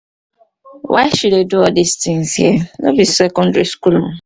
why she dey do all dis things. here no be secondary school ooo.